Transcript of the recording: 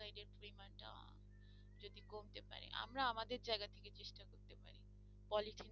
আমরা আমাদের জায়গা থেকে চেষ্টা করতে পারি পলিথিনে